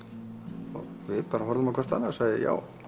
við bara horfðum á hvort annað og sögðum já